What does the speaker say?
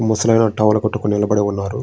ముసలాయన టవల్ కట్టుకొని నిలబడి ఉన్నారు.